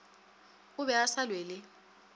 o be a sa lwele